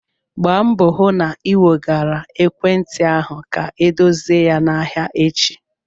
Gbaa mbọ hụ na ị wegara ekwentị ahụ ka edozie ya n'ahịa echi!